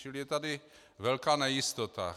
Čili je tady velká nejistota.